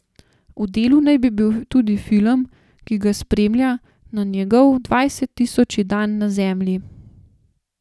V delu naj bi bil tudi film, ki ga spremlja na njegov dvajset tisoči dan na Zemlji.